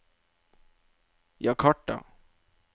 Jakarta